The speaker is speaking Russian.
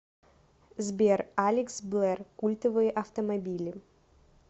сбер алекс блэр культовые автомобили